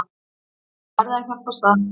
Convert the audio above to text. Þið verðið að hjálpast að.